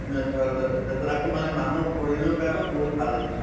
মানে ধৰা তাৰপিছত আকৌ মানে মানুহৰ শৰীৰৰ কাৰণেও বহুত ভাল